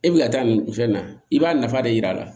E bi ka taa nin fɛn in na i b'a nafa de yir'a la